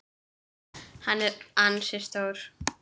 Hann er ansi stór.